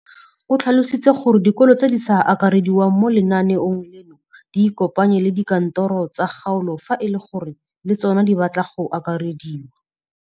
O tlhalositse gore dikolo tse di sa akarediwang mo lenaaneng leno di ikopanye le dikantoro tsa kgaolo fa e le gore le tsona di batla go akarediwa.